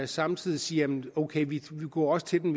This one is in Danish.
samtidig siger ok vi går også til dem